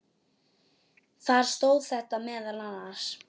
Þar stóð þetta meðal annars